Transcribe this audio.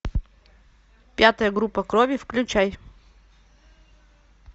пятая группа крови включай